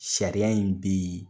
Sariya in bi